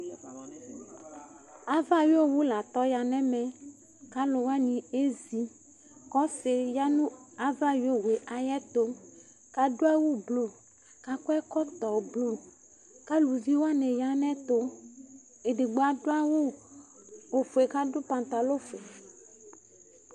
Aʋa ayɔwu la tɔ nu ɛmɛ Ku aluwani ezi Ku ɔsiɖi ya nu aʋa ayɔwu yɛ ayɛtu Ku aɖu awu blu, ku akɔ ɛkɔtɔ blu Ku aluʋi waní ya nu ayɛtu Eɖigbo aɖu awu ofue, ku aɖu pantalɔ fue